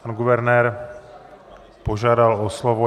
Pan guvernér požádal o slovo.